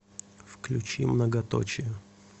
включи многоточие